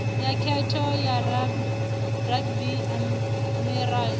ya khetho ya ruby emerald